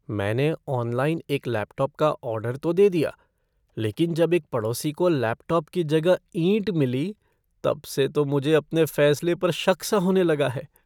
मैंने ऑनलाइन एक लैपटॉप का ऑर्डर तो दे दिया, लेकिन जब एक पड़ोसी को लैपटॉप की जगह ईंट मिली, तब से तो मुझे अपने फैसले पर शक सा होने लगा है।